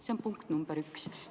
" See on punkt nr 1.